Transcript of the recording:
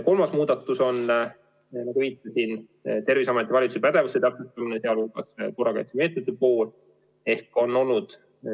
Kolmas muudatus on, nagu viitasin, Terviseameti ja valitsuse pädevuse täpsustamine, sealhulgas korrakaitsemeetmete osas.